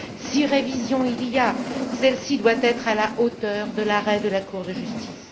Si révision il y a, celle ci doit être à la hauteur de l'arrêt de la Cour de justice.